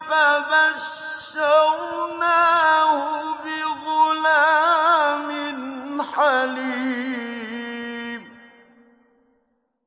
فَبَشَّرْنَاهُ بِغُلَامٍ حَلِيمٍ